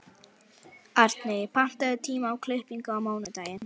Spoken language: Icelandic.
Arney, pantaðu tíma í klippingu á mánudaginn.